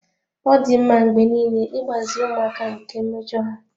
Ọ dị mma mgbe niile ịgbazi ụmụaka nke mmejọ ha.